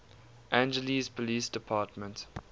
angeles police department